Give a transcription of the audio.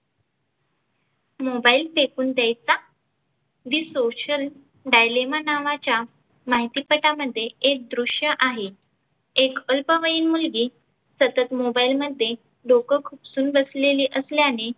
mobile फेकुन द्यायचा the social dialima नावाच्या माहिती पटामध्ये एक दृष्य आहे. एक अल्पवयीन मुलगी सतत mobile मध्ये डोक खुपसून बसलेली असल्याने